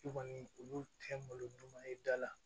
I kɔni olu tɛ malo ɲuman ye i da la